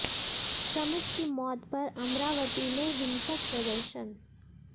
श्रमिक की मौत पर अमरावती में हिसक प्रदर्शन